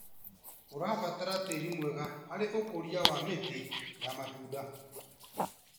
Ũrabatara tĩri mwega harĩ ũkũria wa mĩtĩ ya matunda.